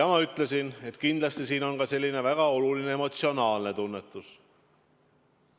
Ma ütlesin, et kindlasti on siin väga oluline ka emotsionaalne tunnetus.